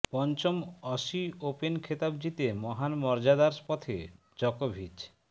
পঞ্চম Aussie open খেতাব জিতে মহান মর্যাদার পথে জকোভিচ